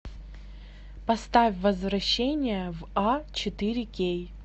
поставь возвращение в а четыре кей